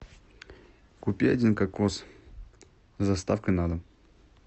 купи один кокос с доставкой на дом